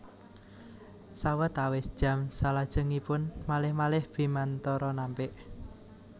Sawetawis jam salajengipun malih malih Bimantoro nampik